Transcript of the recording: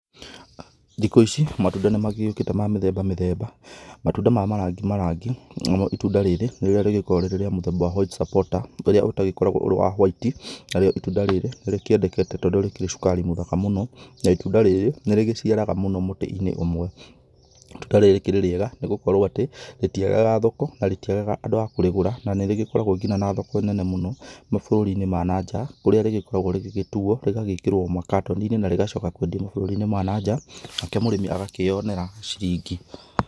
Thikũ ici matunda nĩ magĩokĩte ma mĩthemba mĩthemba, matunda ma marangi marangi, narĩo itunda rĩrĩ rĩrĩa rĩkoragwo rĩrĩ rĩa mũthemba wa White Supporter rĩríĩ rĩtagĩkoragwo wa whati na rĩo itunda rĩrĩ rĩkĩendekete tondũ rĩkĩrĩ cukari mũthaka mũno na itunda rĩrĩ nĩ rĩgĩciaraga mũno mũtĩ-inĩ ũmwe, itunda rĩrĩ rĩkĩrĩ rĩega nĩgũkorwo atĩ rĩtiagaga thoko na rĩtiagaga andũ a kũrĩgũra na nĩ rĩgĩkorwo nginya na thoko nene mũno mabũrũri-inĩ ma nanja kũrĩa rĩgĩkoragwo rĩgĩ tuo rĩgagĩkĩrwo magatoni-inĩ na rĩgacoka kwendĩo mabũrũri-inĩ ma nanjaa nake mũrĩmĩ agakĩonera ciringi.